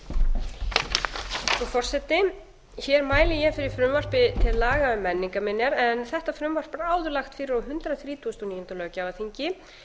frú forseti hér mæli ég fyrir frumvarpi til laga um menningarminjar en þetta frumvarp var áður lagt fyrir á hundrað þrítugasta og níunda löggjafarþingi